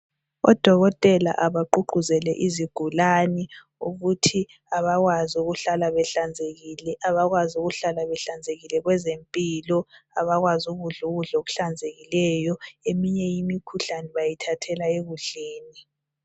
Odokotela abaqhuqhuzele izigulane ukuthi abakwazi ukuhlala behlanzekile abakwazi ukuhlala behlanzekile kwezempilo abakwazi ukudla ukudla okuhlanzekileyo kwezempilo emenye imikhuhlane bayithathela ekudleni